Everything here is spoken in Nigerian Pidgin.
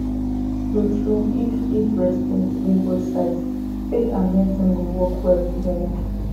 truetrue if if respect dey both sides faith and medicine go work well together